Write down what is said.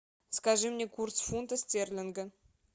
скажи мне курс фунта стерлинга